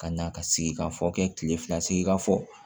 Ka na ka sigikafɔ kɛ kile fila sigi ka fɔ